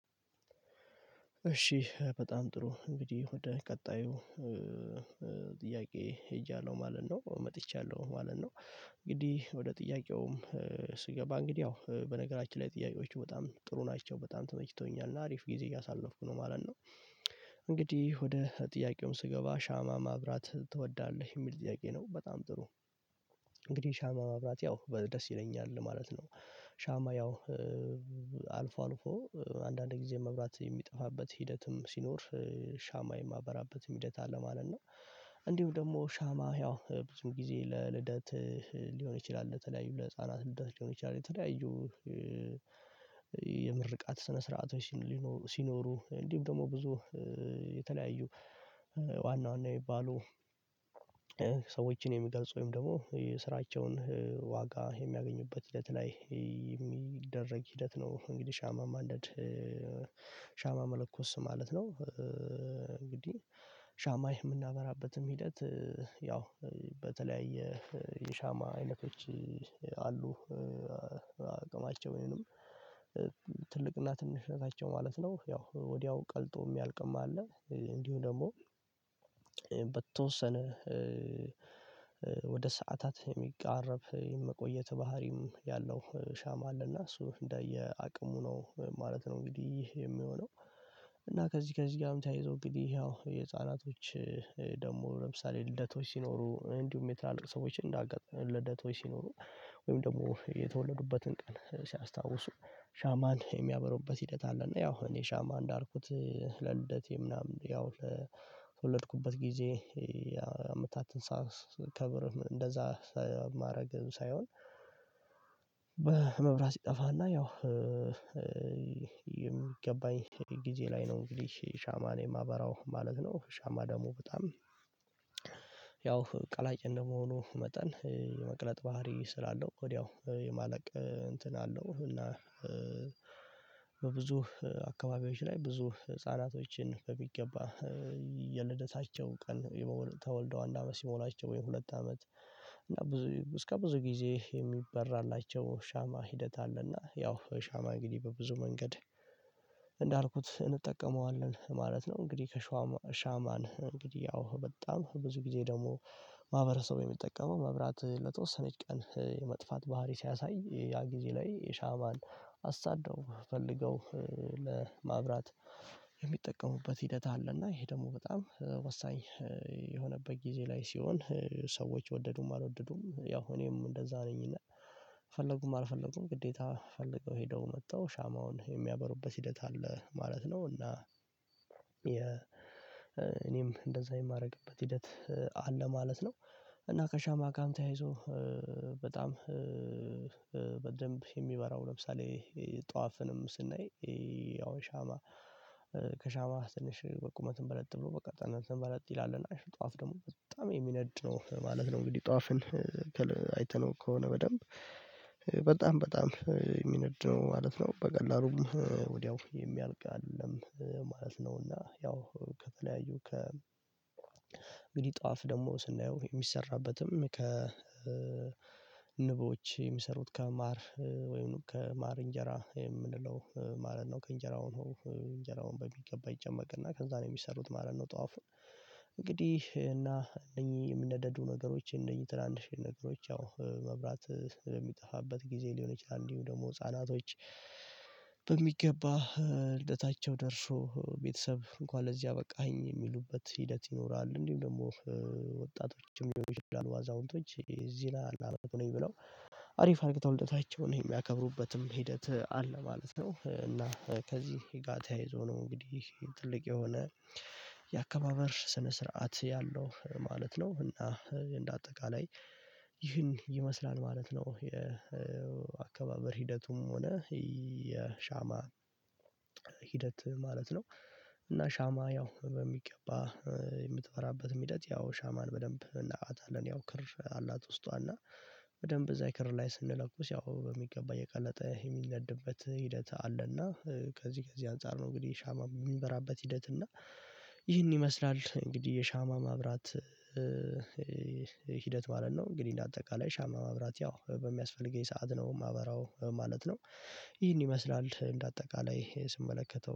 እሺ በጣም ጥሩ እንግዲህ ወደ ቀጣዩ ጥያቄ ሄጃለሁ ማለት ነው መጥቻለሁ ማለት ነው። እንግዲህ ወደ ጥያቄውም ስገባ እንግዲህ ያው በነገራችን ላይ ጥያቄዎቹ በጣም ጥሩ ናቸው በጣም ተመችተውኛል እና አሪፍ ጊዜ እያሳለፍኩ ነው ማለት ነው። እንግዲህ ወደ ጥያቄው ስገባ ሻማ ማብራት ትወዳለህ የሚል ጥያቄ ነው በጣም ጥሩ። እንግዲህ ሻማ ማብራት ያው በ ደስ ይለኛል ማለት ነው። ሻማ ያው አልፎ አልፎ አንዳንድ ጊዜ መብራት የሚጠፋበት ሂደትም ሲኖር ሻማ ሻማ የማበራበትም ሂደት አለ ማለት ነው። እንዲሁም ደግሞ ሻማ ያው ብዙ ጊዜ ለልደት ሊሆን ይችላል ለተለያዩ ለህፃናት ልደት ሊሆን ይችላል። የተለያዩ የምርቃት ስነ ስርዓቶች ሊኖ ሲኖሩ እንዲሁም ደግሞ ብዙ የተለያዩ ዋና ዋና የሚባሉ ሰዎችን የሚገልጹ ወይም ደግሞ ስራቸውን ዋጋ የሚያገኙበት ሂደት ላይ ሂደት ነው እንግዲህ ሻማ ማንደድ ሻማ መለኮስ ማለት ነው። እንግዲህ ሻማ ሻማ የምናበራበትም ሂደት ያው በተለያየ የሻማ አይነቶች አሉ። አቅማቸው ወይንም ትልቅና ትንሽ ናቸው ማለት ነው ያው ወዲያው ቀልጦ የሚያልቅም አለ እንዲሁ ደግሞ በተወሰነ ወደ ሰዓታት የሚቃረብ የመቆየት ባህሪም ያለው ሻማ አለና እሱ እንደ የአቅሙ ነው ማለት ነው። እንግዲህ የሚሆነው እና ከዚህ ከዚህ ጋርም ተያይዞ እንግዲህ ያው የህፃናቶች ደግሞ ለምሳሌ ልደቶች ሲኖሩ እንዲሁም የትላልቅ ሰዎች እንዳአጋጣሚ ልደቶች ሲኖሩ ወይም ደግሞ የተወለዱበትን ቀን ሲያስታውሱ ሻማን የሚያበሩበት ሂደት አለ። እና ያው እኔ ሻማ እንዳልኩት ለልደቴ ምናምን ያው ለተወለድኩበት ጊዜ ያው አመታትን ሳ ሳከብር እንደዛ ሳ ማድረግም ሳይሆን መብራት ሲጠፋና ያው የሚገባኝ ጊዜ ላይ ነው እንግዲህ ሻማን የማበራው ማለት ነው። ሻማ ደግሞ በጣም ያው ቀላጭ እንደመሆኑ መጠን የመቅለጥ ባህሪ ስላለው ወዲያው የማለቅ እንትን አለው እና በብዙ አካባቢዎች ላይ ብዙ ህፃናቶችን በሚገባ ይ የልደታቸው ቀን የ ተወልደው አንድ አመት ሲሞላቸው ወይም ሁለት አመት እና ብዙ እስከ ብዙ ጊዜ የሚበራላቸው ሻማ ሂደት አለና ያው ሻማ እንግዲህ በብዙ መንገድ እንዳልኩት እንጠቀመዋለን ማለት ነው። እንግዲህ ከሸዋ ሻማን እንግዲህ ያው በጣም ብዙ ጊዜ ደግሞ ማህበረሰቡ የሚጠቀመው መብራት ለተወሰነች ቀን የመጥፋት ባህሪ ሲያሳይ ያ ጊዜ ላይ የሻማን አሳደው ፈልገው ለማብራት የሚጠቀሙበት ሂደት አለና ይሄ ደግሞ በጣም ወሳኝ የሆነበት ጊዜ ላይ ሲሆን ሰዎች ወደዱም አልወደዱም ያው እኔም እንደዛ ነኝና ፈለጉም አልፈለጉም ግዴታ ፈልገው ሄደው አምጥተው ሻማውን የሚያበሩበት ሂደት አለ ማለት ነው። እና የ እኔም እንደዛ የማደርግበት ሂደት አለ ማለት ነው። እና ከሻማ ጋርም ተያይዞ በጣም በደንብ የሚበራው ለምሳሌ ጧፍንም ስናይ ያው ሻማ ከሻማ ትንሽ በቁመትም በለጥ ብሎ ቅጥነትም በለጥ ይላል እና ጧፍ ደግሞ በጣም የሚነድ ነው ማለት ነው። እንግዲህ ጧፍን ከ አይተነው ከሆነ በደንብ በጣም በጣም የሚነድ ነው ማለት ነው በቀላሉም ወዲያው የሚያልቅ አይደለም ማለት ነውና ያው ከተለያዩ ከ እንግዲህ ጧፍ ደግሞ ስናየው የሚሰራበትም ከ ንቦች የሚሰሩት ከማር ወይም ከማር እንጀራ የምንለው ማለት ነው ከእንጀራው ነው እንጀራውን በሚገባ ይጨመቅና ከዛ ነው የሚሰሩት ማለት ነው። ጧፉ እና እነኚህ የምነደዱ ነገሮችን እነኚህ ትናንሽዬ ነገሮች ያው መብራት ለሚጠፋበት ጊዜ ሊሆን ይችላል እንዲሁም ደግሞ ህፃናቶች በሚገባ ልደታቸው ደርሶ ቤተሰብ እንኳን ለዚህ አበቃኸኝ የሚሉበት ሂደት ይኖራል። እንዲሁም ደግሞ ወጣቶችም ልሆኑ ይችላሉ አዛውንቶች እዚህ ነኝ ብለው አሪፍ አርጊተው ልደታቸውን የሚያከብሩበትም ሂደት አለ ማለት ነው። እና ከዚህ ጋር ተያይዞ ነው እንግዲህ ትልቅ የሆነ የአከባበር ስነ-ስርዓት ያለው ማለት ነው እና እንደ አጠቃላይ ይህን ይመስላል ማለት ነው። የአካባበር ሂደቱም ሆነ የሻማ ሂደት ማለት ነው እና ሻማ ያው በሚገባ የምትፈራበትም ሂደት ያው ሻማን በደንብ እናውቃታለን ያው ክር አላት ውስጧ እና በደንብ እዛ ክር ላይ ስንለኩስ ያው በሚገባ እየ ቀለጠ የሚነድበት ሂደት አለና ከዚህ ከዚህ አንፃር ነው እንግዲህ ሻማ የሚበራበት ሂደት እና ይህን ይመስላል እንግዲህ የሻማ ማብራት ሂደት ማለት ነው። እንግዲህ እንደ አጠቃላይ ሻማ ማብራት ያው በሚያስፈልገኝ ሰዓት ነው ማበራው ማለት ነው። ይሄን ይመስላል እንደ አጠቃላይ ስመለከተው